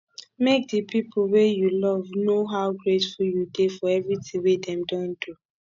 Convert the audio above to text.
make di pipo wey you love know how grateful you dey for everything wey dem don do